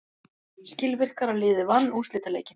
Skilvirkara liðið vann úrslitaleikinn.